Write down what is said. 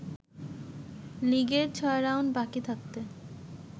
লিগের ৬ রাউন্ড বাকি থাকতে